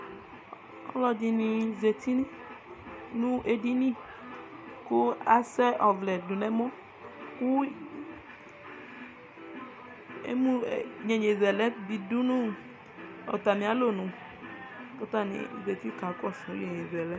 ɔlɔdini zati nʋ ɛdini kʋ asɛ ɔvlɛ dʋnʋ ɛmɔ kʋ yɛyɛzɛlɛ di dʋnʋ ɔtami alɔnʋ kʋ atanizatikakɔsʋ yɛyɛzɛlɛ